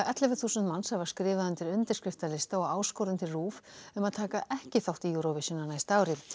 þúsund manns hafa skrifað undir undirskriftalista og áskorun til RÚV um að taka ekki þátt í Eurovision á næsta ári